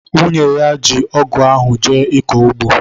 nwunye ya ji ọgụ ahụ jee ịkọ ugbo.